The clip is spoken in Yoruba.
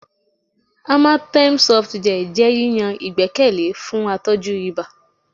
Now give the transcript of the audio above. Amatem Softgel jẹ yiyan igbẹkẹle fun atọju iba